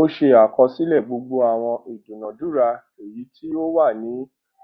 ó se àkosílè gbogbo àwọn ìdúnadúrà èyí tí ówà ní